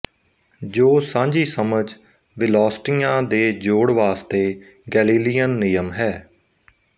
ਜੋ ਸਾਂਝੀਸਮਝ ਵਿਲੌਸਟੀਆਂ ਦੇ ਜੋੜ ਵਾਸਤੇ ਗੈਲੀਲੀਅਨ ਨਿਯਮ ਹੈ